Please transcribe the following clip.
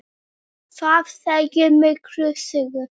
Þetta segir mikla sögu.